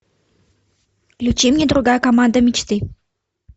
включи мне другая команда мечты